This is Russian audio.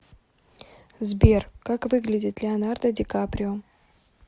сбер как выглядит леонардо ди каприо